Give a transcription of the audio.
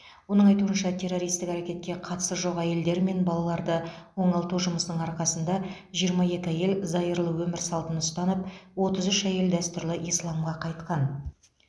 оның айтуынша террористік әрекетке қатысы жоқ әйелдер мен балаларды оңалту жұмысының арқасында жиырма екі әйел зайырлы өмір салтын ұстанып отыз үш әйел дәстүрлі исламға қайтқан